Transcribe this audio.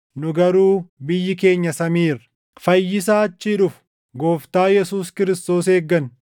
Nu garuu biyyi keenya samii irra. Fayyisaa achii dhufu, Gooftaa Yesuus Kiristoos eegganna;